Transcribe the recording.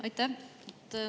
Aitäh!